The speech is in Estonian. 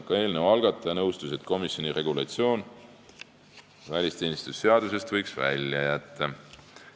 Ka eelnõu algataja nõustus, et komisjoni regulatsiooni võiks välisteenistuse seadusest välja jätta.